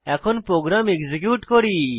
এখন program execute করি